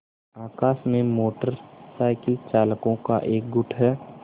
आकाश में motorcycle चालकों का एक गुट है